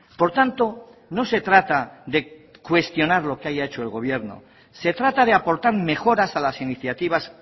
por tanto no se trata de cuestionar lo que haya hecho el gobierno se trata de aportar mejoras a las iniciativas